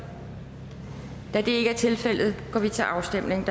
da det ikke er tilfældet går vi til afstemning